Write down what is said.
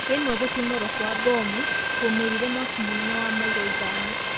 Rĩmwe gũtimorwo kwa bomu kwaũmĩrire mwaki mũnene wa mailo ithano